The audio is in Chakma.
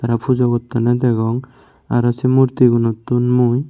aro pujo gottonney degong aro sey murtigunottun mui.